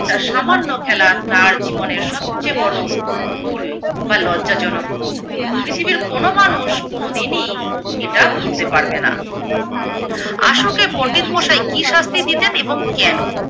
একটা সামান্য খেলা তার জীবনের সবচেয়ে বড়ো ভুল বা লজ্জাজনক ভুল। পৃথিবীর কোনো মানুষ কোনো দিনই এটা ভুলতে পারবেনা। আশুকে পন্ডিত মশাই কি শাস্তি দিতেন এবং কেনো?